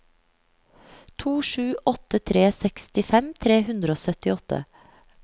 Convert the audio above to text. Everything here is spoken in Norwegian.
to sju åtte tre sekstifem tre hundre og syttiåtte